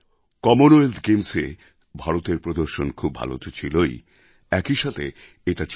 Commonwealth গেমস্এ ভারতের প্রদর্শন খুব ভাল তো ছিলই একই সাথে এটা ছিল